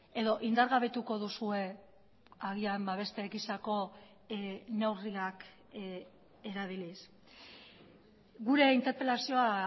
edo indargabetuko duzue agian beste gisako neurriak erabiliz gure interpelazioa